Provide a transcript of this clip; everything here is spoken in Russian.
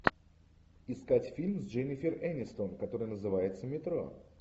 искать фильм с дженнифер энистон который называется метро